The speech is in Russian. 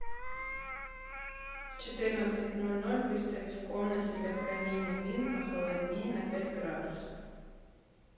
в четырнадцать ноль ноль выставить в комнате для хранения вин похолоднее на пять градусов